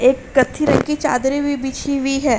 एक कत्थी रंग की चादरें भी बिछी हुई है।